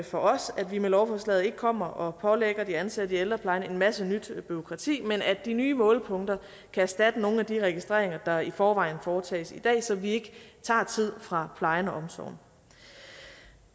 for os at vi med lovforslaget ikke kommer og pålægger de ansatte i ældreplejen en masse nyt bureaukrati men at de nye målepunkter kan erstatte nogle af de registreringer der i forvejen foretages i dag så vi ikke tager tid fra plejen og omsorgen